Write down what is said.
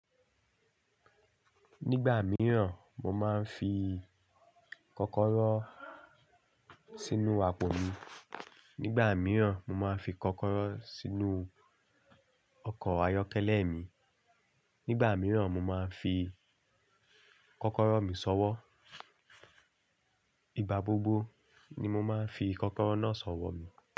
Nígbà mìíràn, mo máa ń fi kọ́kọ́rọ́ sínú àpò mi. Nígbà mìíràn, mo máa ń fi kọ́kọ́rọ́ sínú ọkọ̀ ayọ́kẹ́lẹ́ mi. Nígbà mìíràn, mo máa ń fi kọ́kọ́rọ́ mi sọ́wọ́. Iba gbogbo ni mo máa ń fi kọ́kọ́rọ́ náà sọ́wọ́.